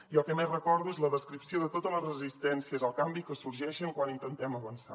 i el que més recordo és la descripció de totes les resistències al canvi que sorgeixen quan intentem avançar